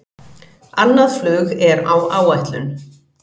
Annað flug er á áætlun